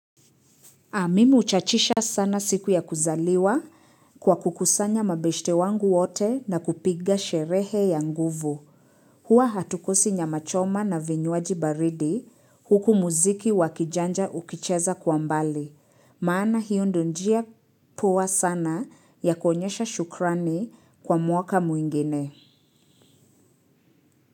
Mimi huchachisha sana siku ya kuzaliwa kwa kukusanya mabeshte wangu wote na kupiga sherehe ya nguvu. Huwa hatukosi nyamachoma na vinywaji baridi huku muziki wakijanja ukicheza kwa mbali. Maana hiyo ndiyo njia poa sana ya kuonyesha shukrani kwa mwaka mwingine.